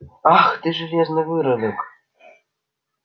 ах ты железный выродок